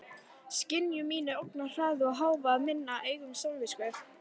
Skynjun mín er ógnarhraði og hávaði minnar eigin samvisku.